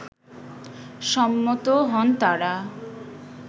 সম্মত হন তারা